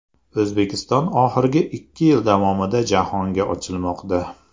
O‘zbekiston oxirgi ikki yil davomida jahonga ochilmoqda.